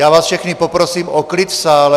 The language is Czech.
Já vás všechny poprosím o klid v sále.